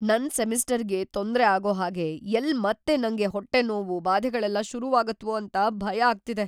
ನನ್ ಸೆಮಿಸ್ಟರ್‌ಗೆ ತೊಂದ್ರೆ ಆಗೋ ಹಾಗೆ ಎಲ್ಲ್‌ ಮತ್ತೆ ನಂಗ್ ಹೊಟ್ಟೆ ನೋವು, ಬಾಧೆಗಳೆಲ್ಲ ಶುರುವಾಗತ್ವೋ ಅಂತ‌ ಭಯ ಆಗ್ತಿದೆ.